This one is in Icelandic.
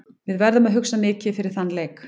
Við verðum að hugsa mikið fyrir þann leik.